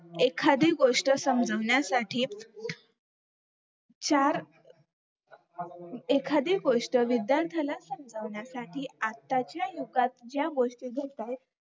एखादी गोष्ट समजवण्यासाठी चार एखादी गोष्ट विध्यार्थांना समजवण्यासाठी आताच्या युगात ज्या गोष्टी चालत्यात